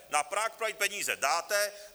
Na Prague Pride peníze dáte.